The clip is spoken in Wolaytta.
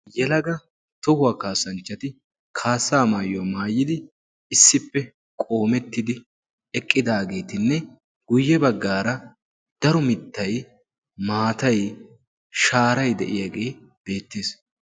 yelaga tohuwaa kaassanchchati kaassaa maayuwaa maayidi issippe qoomettidi eqqidaageetinne guyye baggaara daro mittai maatai shaarai de7iyaagee beettees.